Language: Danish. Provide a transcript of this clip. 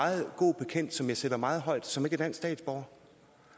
meget god bekendt som jeg sætter meget højt som ikke er dansk statsborger